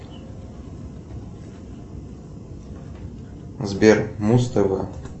сбер муз тв